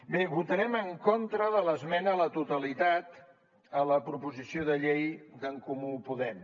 bé votarem en contra de l’esmena a la totalitat a la proposició de llei d’en comú podem